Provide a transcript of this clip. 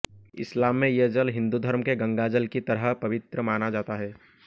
इस्लाम में ये जल हिंदू धर्म के गंगाजल की तरह पवित्र माना जाता है